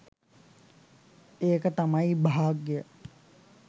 ඒක තමයි භාග්‍යය.